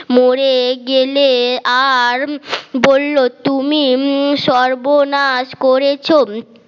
মরে গেলে আর বলল তুমি সর্বনাশ করেছ